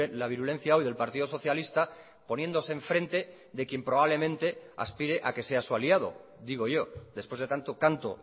la virulencia hoy del partido socialista poniéndose en frente de quien probablemente aspire a que sea su aliado digo yo después de tanto canto